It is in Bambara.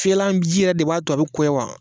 Fiyɛlanji yɛrɛ de b'a to a bi koya wa?